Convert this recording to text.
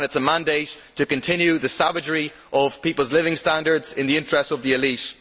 It is a mandate to continue the savagery of people's living standards in the interests of the elite.